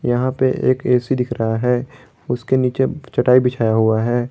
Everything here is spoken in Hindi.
यहां पे एक ए_सी दिख रहा है उसके नीचे चटाई बिछाया हुआ है।